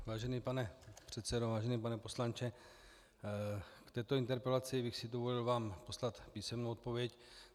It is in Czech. Vážený pane předsedo, vážený pane poslanče, v této interpelaci bych si dovolil vám poslat písemnou odpověď.